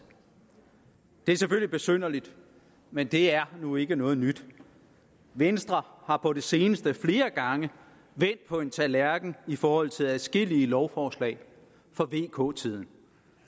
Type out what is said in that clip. det er selvfølgelig besynderligt men det er nu ikke noget nyt venstre har på det seneste flere gange vendt på en tallerken i forhold til adskillige lovforslag fra vk tiden